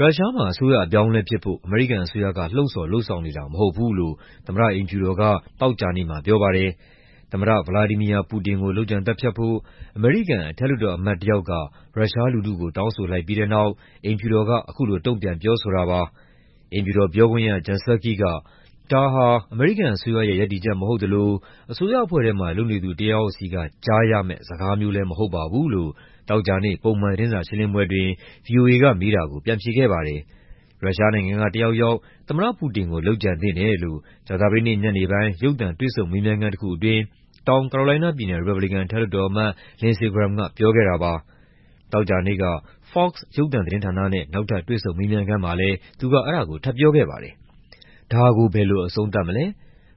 ရုရှားမှာ အစိုးရအပြောင်းအလဲဖြစ်ဖို့ အမေရိကန်အစိုးရက လှုံံ့ဆော်လုပ်ဆောင်နေတာ မဟုတ်ဘူးလို့ သမ္မတအိမ်ဖြူတော်က သောကြာနေ့မှာ ပြောပါတယ်။ သမ္မတ ဗလာဒီမီယာ ပူတင်ကို လုပ်ကြံသတ်ဖြတ်ဖို့ အမေရိကန် အထက်လွှတ်တော်အမတ် တယောက်က ရုရှားလူထုကို တောင်းဆိုလိုက်ပြီးတဲ့နောက် အိမ်ဖြူတော်က အခုလို တုံ့ပြန်ပြောဆိုတာပါ။ အိမ်ဖြူတော်ပြောခွင့်ရ Jen Psaki က "ဒါဟာ အမေရိကန်အစိုးရရဲ့ ရပ်တည်ချက် မဟုတ်သလို အစိုးရအဖွဲ့ထဲမှာ လုပ်နေသူ တယောက်ယောက်ဆီက ကြားရမယ့် စကားမျိုးလည်း မဟုတ်ပါဘူး" လို့ သောကြာနေ့ ပုံမှန်သတင်းစာရှင်းလင်းပွဲအတွင်း ဗွီအိုအေကမေးတာကို ပြန်ဖြေခဲ့ပါတယ်။ ရုရှားနိုင်ငံက တယောက်ယောက် သမ္မတပူတင်ကို လုပ်ကြံသင့်တယ်လို့ ကြာသပတေးနေ့ ညနေပိုင်း ရုပ်သံတွေ့ဆုံမေးမြန်းခန်းတခုအတွင်း တောင်ကာရိုလိုင်းနားပြည်နယ်၊ ရီပတ်ဘလီကန် အထက်လွှတ်တော်အမတ် Lindsey Graham က ပြောခဲ့တာပါ။ သောကြာနေ့က Fox ရုပ်သံသတင်းဌာနနဲ့ နောက်ထပ်တွေ့ဆုံမေးမြန်းခန်းမှာလည်း သူက အဲဒါကို ထပ်ပြောခဲ့ပါတယ်။ "ဒါကို ဘယ်လိုအဆုံးသတ်မလဲ၊